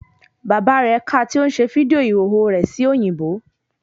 Bàbá rẹ̀ ka tí ó ń ṣe fídíò ìhòòhò rẹ̀ sí òyìnbó